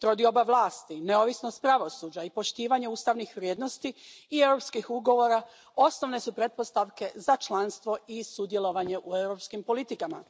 Trodioba vlasti, neovisnost pravosuđa i poštivanje ustavnih vrijednosti i europskih ugovora osnovne su pretpostavke za članstvo i sudjelovanje u europskim politikama.